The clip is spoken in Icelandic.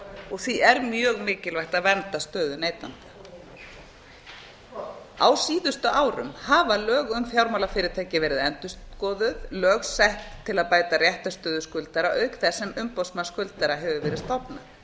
og því er mjög mikilvægt að vernda stöðu neytenda á síðustu árum hafa lög um fjármálafyrirtæki verið endurskoðuð lög sett til að bæta réttarstöðu skuldara auk þess sem umboðsmanns skuldara hafur verið stofnað